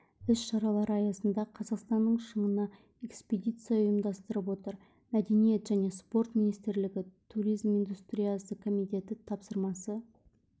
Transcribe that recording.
іс-шаралар аясында қазақстанның шыңына экспедиция ұйымдастырып отыр мәдениет және спорт министрлігі туризм индустриясы комитеті тапсырмасы